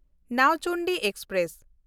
Nauchandi express